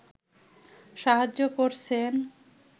সাহায্য করছেন